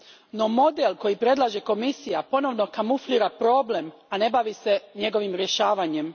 No, model koji predlaže Komisija ponovno kamuflira problem, a ne bavi se njegovim rješavanjem.